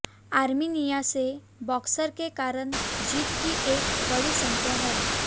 Armenia से boxer के कारण जीत की एक बड़ी संख्या है